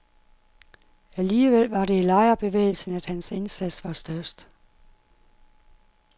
Alligevel var det i lejerbevægelsen, at hans indsats var størst.